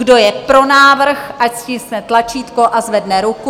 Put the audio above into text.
Kdo je pro návrh, ať stiskne tlačítko a zvedne ruku.